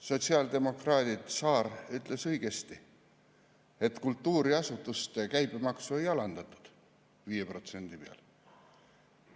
Sotsiaaldemokraat Saar ütles õigesti, et kultuuriasutuste käibemaksu ei alandatud 5% peale.